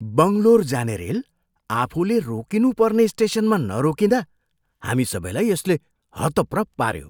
बङ्गलोर जाने रेल आफूले रोकिनु पर्ने स्टेसनमा नरोकिँदा हामी सबैलाई यसले हतप्रभ पाऱ्यो।